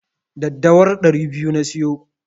Daddawar ɗari biyu na siyo.